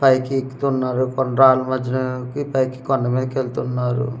పైకి ఎక్కుతున్నారు కొండ్రాళ్ళ మద్యలోకి పైకి కొండ మీదికెల్తున్నారు.